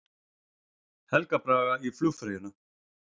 Helga Braga í flugfreyjuna